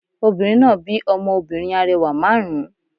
Obìnrin náà bí ọmọ obìnrin arẹwà márùn ún